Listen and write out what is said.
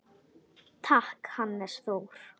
Takk, Hannes Þór.